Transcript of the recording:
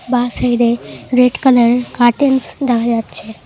বা সাইডে রেড কালারের কার্টেন্স দেখা যাচ্ছে।